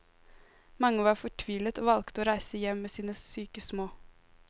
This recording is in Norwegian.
Mange var fortvilet og valgte å reise hjem med sine syke små.